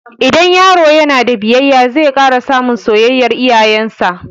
Idan yaro ya na da biyayya, zai ƙara samun soyayyar iyayen sa